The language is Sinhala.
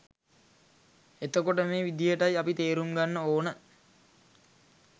එතකොට මේ විදිහටයි අපි තේරුම් ගන්න ඕන